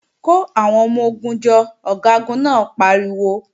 Kò àwọn ọmọ-ogun jọ, Ọ̀gágun náà pariwo!